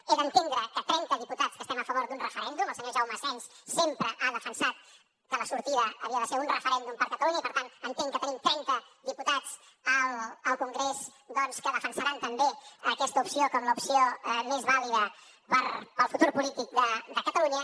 he d’entendre que trenta diputats que estem a favor d’un referèndum el senyor jaume asens sempre ha defensat que la sortida havia de ser un referèndum per catalunya i per tant entenc que tenim trenta diputats al congrés doncs que defensaran també aquesta opció com l’opció més vàlida pel futur polític de catalunya